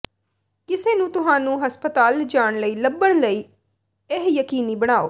ਕਿਸੇ ਨੂੰ ਤੁਹਾਨੂੰ ਹਸਪਤਾਲ ਲਿਜਾਣ ਲਈ ਲੱਭਣ ਲਈ ਇਹ ਯਕੀਨੀ ਬਣਾਉ